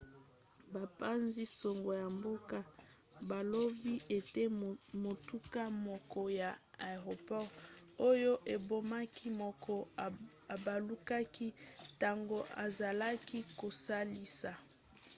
bapanzi-sango ya mboka balobi ete motuka moko ya aeroport oyo ebomaki moko ebalukaki ntango ezalaki kosalisa